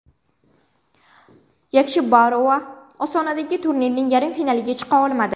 Yakshibarova Ostonadagi turnirning yarim finaliga chiqa olmadi.